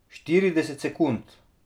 Štirideset sekund.